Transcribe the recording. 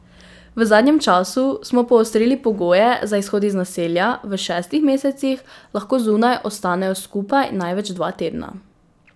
V zadnjem času smo poostrili pogoje za izhod iz naselja, v šestih mesecih lahko zunaj ostanejo skupaj največ dva tedna.